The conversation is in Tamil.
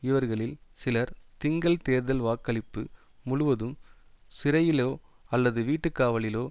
இவர்களில் சிலர் திங்கள் தேர்தல் வாக்களிப்பு முழுவதும் சிறையிலோ அல்லது வீட்டு காவலிலோ